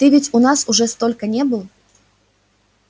ты ведь у нас уже столько не был